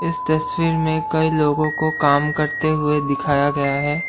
इस तस्वीर में कई लोगों को काम करते हुए दिखाया गया है।